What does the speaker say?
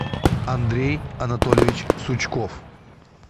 андрей анатольевич сучков